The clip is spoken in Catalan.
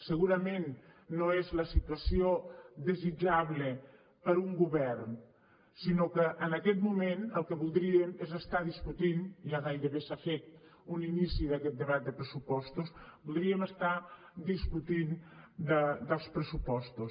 segurament no és la situació desitjable per a un govern sinó que en aquest moment el que voldríem és estar discutint ja gairebé s’ha fet un inici d’aquest debat de pressupostos voldríem estar discutint dels pressupostos